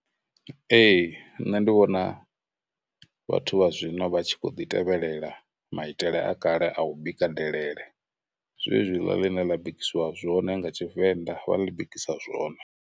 Ee, nṋe ndi vhona vhathu vha zwino vha tshi khou ḓi tevhelela maitele a kale a u bika delele, zwezwiḽa ḽine ḽa bikisiwa zwone nga Tshivenḓa, vha ḽi bikisa zwone.